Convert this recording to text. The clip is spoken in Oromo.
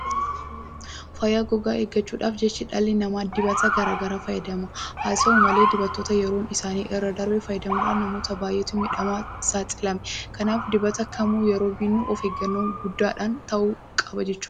Fayyaa gogaa eeggachuudhaaf jecha dhalli namaa dibata garaa garaa fayyadama. Haa ta'u malee dibatoota yeroon isaanii irraa darbe fayyadamuudhaan namootaa baay'eetu miidhaadhaaf saaxilame. Kanaaf dibata kamuu yeroo binnu of eeggannoo guddaadhaan ta'uu qaba jechuudha.